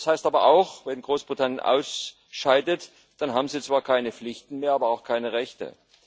Das heißt aber auch Wenn Großbritannien ausscheidet, dann haben sie zwar keine Pflichten mehr, aber auch keine Rechte.